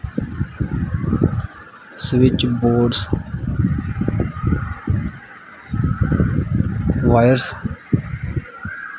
Switch boards wires.